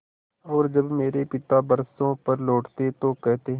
और जब मेरे पिता बरसों पर लौटते तो कहते